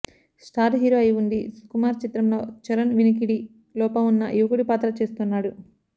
star hero అయి వుండీ సుకుమార్ చిత్రంలో చరణ్ వినికిడి లోపమున్న యువకుడి పాత్ర చేస్తున్నాడు